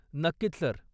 नक्कीच, सर.